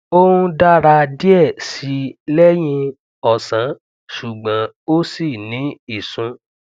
ó ń dàra diẹ síi lẹyìn ọsán ṣùgbọn ó ṣi ní ìsùn